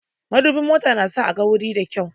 Madubin mota na sa a gan wuri da kyau